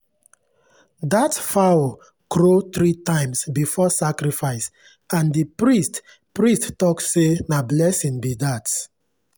that fowl crow three times before sacrifice and the priest priest talk say na blessing be that.